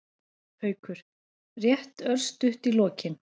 Haukur: Rétt örstutt í lokin.